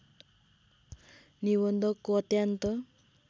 निबन्धको अत्यन्त